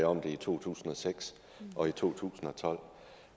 om det i to tusind og seks og i to tusind og tolv